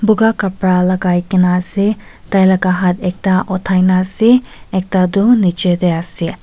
buka khapra lagai kena ase tailaga haat ekta uthai na ase ekta tu niche tey ase.